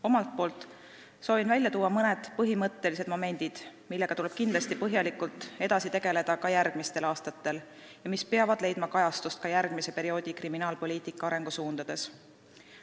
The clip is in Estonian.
Omalt poolt soovin välja tuua mõned põhimõttelised momendid, millega tuleb kindlasti põhjalikult tegeleda ka järgmistel aastatel ja mis peavad leidma kajastust järgmise perioodi kriminaalpoliitika arengusuundades.